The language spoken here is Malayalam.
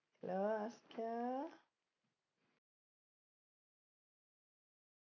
hello അസ്‌ലാ